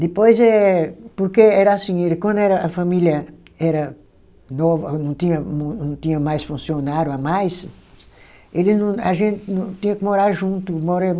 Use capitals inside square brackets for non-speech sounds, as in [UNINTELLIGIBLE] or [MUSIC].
Depois eh, porque era assim, ele quando era a família era nova, não tinha mu não tinha mais funcionário a mais, ele não, a gente não, tinha que morar junto. [UNINTELLIGIBLE]